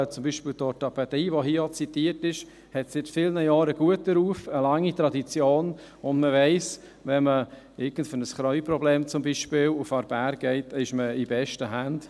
Zum Beispiel hat die Orthopädie, die hier auch zitiert ist, seit vielen Jahren einen guten Ruf und eine lange Tradition, und man weiss, wenn man zum Beispiel für irgendein Knieproblem nach Aarberg geht, ist man in besten Händen.